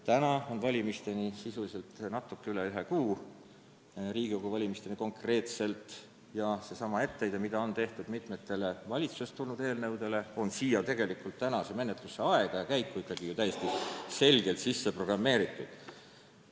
Täna on valimisteni jäänud sisuliselt natuke üle ühe aasta ja ühe kuu – Riigikogu valimisteni konkreetselt – ja etteheide, mida on tehtud mitme valitsusest tulnud eelnõu puhul, on selle eelnõu menetluse käiku ikkagi täiesti selgelt sisse programmeeritud.